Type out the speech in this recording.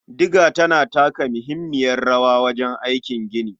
Diga tana taka muhimmiyar rawa wajen aikin gini.